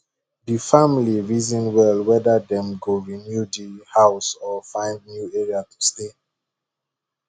di family reason well whether dem go renew di house or find new area to stay